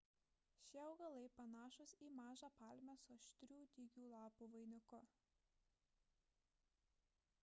šie augalai panašūs į mažą palmę su aštrių dygių lapų vainiku